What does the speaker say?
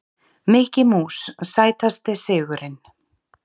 Mikki Mús Sætasti sigurinn?